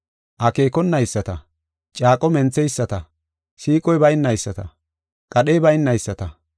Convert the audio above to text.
akeekonayisata, caaqo mentheyisata, siiqoy baynayisata, qadhey baynayisata.